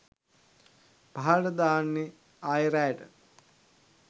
පහළට දාන්නෙ ආයෙ රෑට